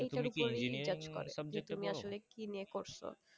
যে তুমি আসলে কি নিয়ে করছো